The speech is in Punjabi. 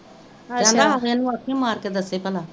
ਕਹਿੰਦਾ ਇਹਨੂੰ ਆਖੀ ਮਾਰ ਕੇ ਦਸੇ ਪਲਾ